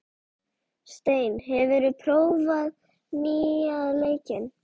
Steinn, hefur þú prófað nýja leikinn?